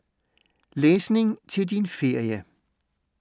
Læsning til din ferie